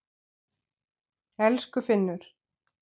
Elsku Finnur.